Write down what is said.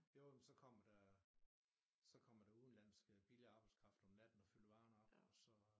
Jo men så kommer der så kommer der udenlandsk øh billig arbejdskraft om natten og fylder varer op og så